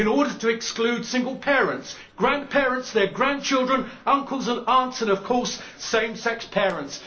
In order to exclude single parents, grandparents, their grandchildren, uncles and aunts and, of course, same sex parents.